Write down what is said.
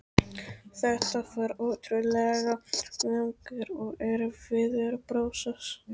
Þetta var ótrúlega langur og erfiður prósess.